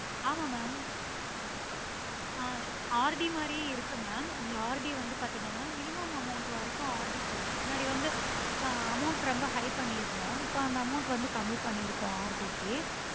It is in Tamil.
ஆமா mam ஆஹ் RD மாதிரியே இருக்கு mam அந்த RD வந்து பாத்தீங்கன்னா minimum amount வரைக்கும் RD போடலாம் முன்னாடி வந்து amount ரொம்ப high பன்னிருந்தோம் இப்போ அந்த amount வந்து கம்மிபண்ணிருக்கோம் RD க்கு